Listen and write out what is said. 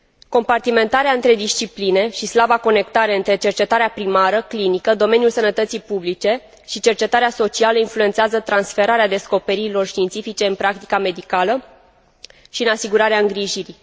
Compartimentarea între discipline și slaba conectare între cercetarea primară, clinică, domeniul sănătății publice și cercetarea socială influențează transferarea descoperirilor științifice în practica medicală și în asigurarea îngrijirii.